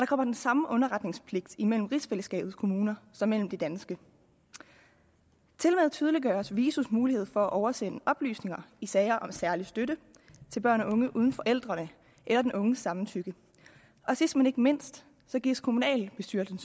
kommer den samme underretningspligt imellem rigsfællesskabets kommuner som mellem de danske tilmed tydeliggøres visos mulighed for at oversende oplysninger i sager om særlig støtte til børn og unge uden forældrenes eller den unges samtykke og sidst men ikke mindst gives kommunalbestyrelsen